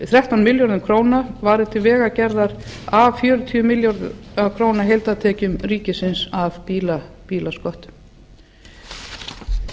varið til vegagerðar af fjögur hundruð og níu milljarða króna heildartekjum ríkisins af bílasköttum ég get